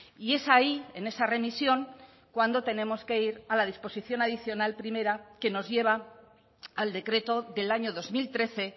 y es ahí en esa remisión cuando tenemos que ir a la disposición adicional primera que nos lleva al decreto del año dos mil trece